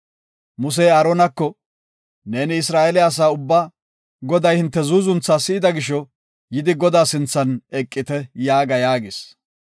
Musey Aaronako, “Neeni Isra7eele asaa ubbaa, ‘Goday hinte zuuzuntha si7ida gisho, yidi Godaa sinthan eqite’ yaaga” yaagis.